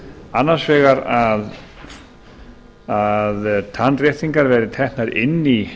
annars vegar að tannréttingar verði teknar inn í